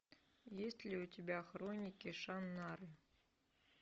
есть ли у тебя хроники шаннары